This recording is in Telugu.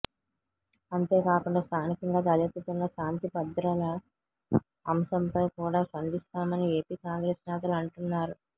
అంతేకాకుండా స్థానికంగా తలెత్తుతున్న శాంతి భద్రల అంశం పై కూడా స్పందిస్తామని ఏపి కాంగ్రెస్ నేతలు అంటున్నారు